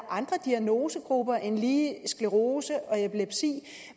andre diagnosegrupper end lige sklerose